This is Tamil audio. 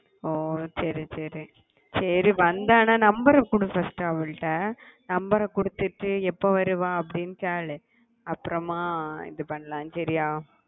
ஓஹ் சரி சரி சரி வந்தான்னா number கொடு first அவகிட்ட number கொடுத்துட்டு எப்போ வருவா அப்பிடின்னு கேளு அப்புறமா இது பண்ணலாம் சரியா